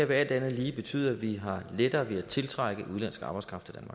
vil alt andet lige betyde at vi har lettere ved at tiltrække udenlandsk arbejdskraft